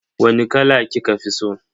Wani kala kika fi so?